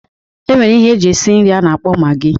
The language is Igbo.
E nwere ihe eji eshi nri a na-akpọ magị